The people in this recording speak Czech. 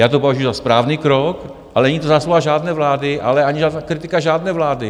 Já to považuji za správný krok, ale není to zásluha žádné vlády, ale ani kritika žádné vlády.